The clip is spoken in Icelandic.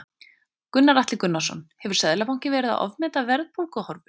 Gunnar Atli Gunnarsson: Hefur Seðlabankinn verið að ofmeta verðbólguhorfur?